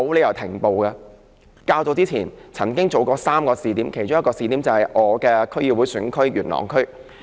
漁護署較早前曾經在3個試點實施這政策，其中一個試點是我的區議會選區元朗區。